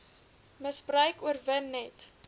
misbruik oorwin net